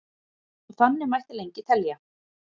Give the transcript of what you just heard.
og þannig mætti lengi telja